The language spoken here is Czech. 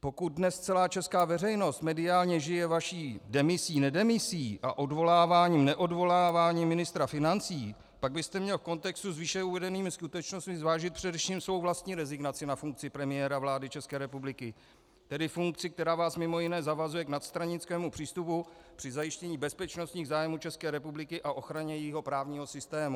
Pokud dnes celá česká veřejnost mediálně žije vaší demisí nedemisí a odvoláváním neodvoláváním ministra financí, pak byste měl v kontextu s výše uvedenými skutečnostmi zvážit především svou vlastní rezignaci na funkci premiéra vlády České republiky, tedy funkci, která vás mimo jiné zavazuje k nadstranickému přístupu při zajištění bezpečnostních zájmů České republiky a ochraně jejího právního systému.